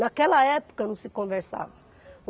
Naquela época não se conversava.